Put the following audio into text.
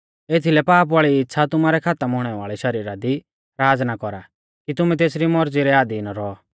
एथीलै पाप वाल़ी इच़्छ़ा तुमारै खातम हुणै वाल़ै शरीरा दी राज़ ना कौरा कि तुमै तेसरी मौरज़ी रै अधीन रौऔ